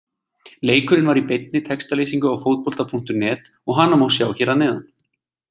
Leikurinn var í beinni textalýsingu á Fótbolta.net og hana má sjá hér að neðan.